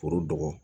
Foro dɔgɔ